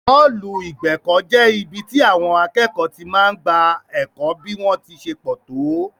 Ọ́ọ̀lù ìgbẹ̀kọ̀ jẹ́ ibi tí àwọn akẹ́kọ̀ọ́ ti máa ń gba ẹ̀kọ́ bí wón ṣe pọ̀ tó